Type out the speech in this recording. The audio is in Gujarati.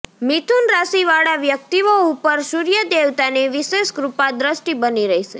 મિથુન રાશી વાળા વ્યક્તિઓ ઉપર સૂર્ય દેવતાની વિશેષ કૃપા દ્રષ્ટિ બની રહેશે